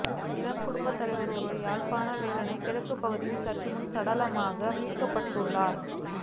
இளம் குடும்பத்தலைவர் ஒருவர் யாழ்ப்பாணம் வேலனை கிழக்குப் பகுதியில் சற்றுமுன்னர் சடலமாக மீட்கப்பட்டுள்ளார்